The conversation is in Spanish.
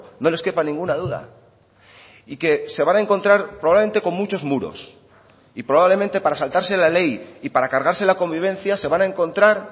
no les quepa ninguna duda y que se van a encontrar probablemente con muchos muros y probablemente para saltarse la ley y para cargarse la convivencia se van a encontrar